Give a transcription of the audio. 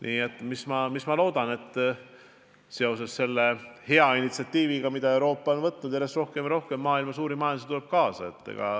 Nii et ma loodan, et selle hea initsiatiiviga, mis Euroopas on algatatud, järjest rohkem maailma suuri majandusi tuleb kaasa.